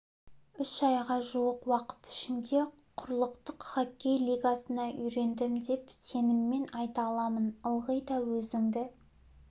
үш айға жуық уақыт ішінде құрлықтық хоккей лигасына үйрендім деп сеніммен айта аламын ылғи да өзіңді